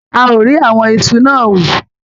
A ò rí àwọn iṣu náà hù.